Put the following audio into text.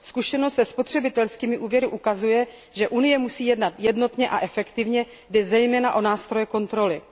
Zkušenost se spotřebitelskými úvěry ukazuje, že Unie musí jednat jednotně a efektivně, jde zejména o nástroje kontroly.